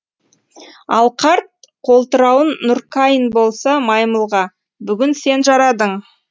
ал қарт қолтырауын нуркаин болса маймылға бүгін сен жарадың